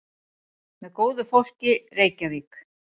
Með góðu fólki, Reykjavík.